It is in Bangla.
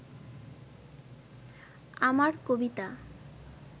আমার কবিতা